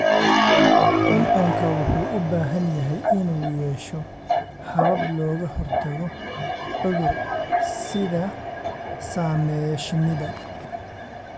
Cuncunku wuxuu u baahan yahay inuu yeesho habab looga hortago cudur-sidaha saameeya shinnida.